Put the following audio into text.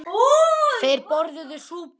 Þeir borðuðu súpu.